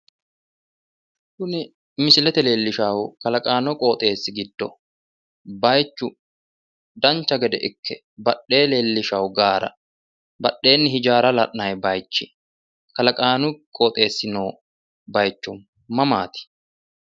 Tini misile leellishshannohu kalaqamu qooxeessi giddo baayiichu dancha gede ikke badhee leellishshawo gaara badheenni hijaara la'nayi baayiichi kalaqaanu qooxeessi noo baayicho maamaati?